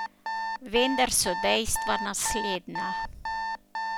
Vendar so dejstva naslednja.